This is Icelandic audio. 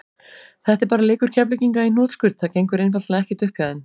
Þetta er bara leikur Keflvíkinga í hnotskurn, það gengur einfaldlega ekkert upp hjá þeim.